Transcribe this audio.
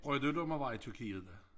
Brød du dig om at være i Tyrkiet da